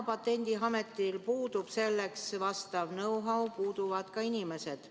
Patendiametil puudub praegu selleks vastav know‑how ja puuduvad ka inimesed.